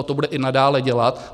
A to bude i nadále dělat.